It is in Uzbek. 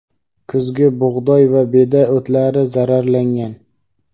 kuzgi bug‘doy va beda o‘tlari zararlangan.